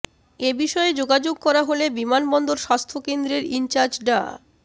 এ বিষয়ে যোগাযোগ করা হলে বিমানবন্দর স্বাস্থ্যকেন্দ্রের ইনচার্জ ডা